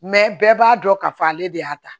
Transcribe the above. bɛɛ b'a dɔn k'a fɔ ale de y'a ta